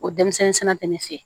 O denmisɛnnin sɛnɛna tɛ ne fɛ yen